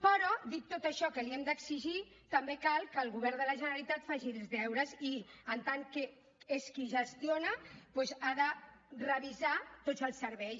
però dic tot això que li hem d’exigir també cal que el govern de la generalitat faci els deures i en tant que és qui gestiona doncs ha de revisar tots els serveis